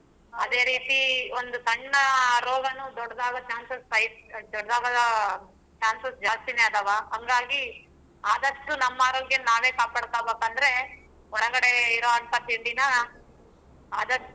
ಅದೆ ರೀತಿ ಒಂದ್ ಸಣ್ಣ ರೋಗನು ದೊಡ್ಡಡಾಗೊ chances chances ಜಾಸ್ತಿನೆ ಅದಾವ ಹಂಗಾಗಿ ಆದಷ್ಟು ನಮ್ ಆರೋಗ್ಯ ನಾವೇ ಕಾಪಾಡ್ಕೊಬೇಕ ಅಂದ್ರೆ ಹೊರಗಡೆ ಇರುವಂತ ತಿಂಡಿನಾ ಆದಷ್ಟು.